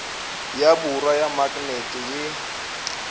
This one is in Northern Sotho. ya borwa ya maknete ye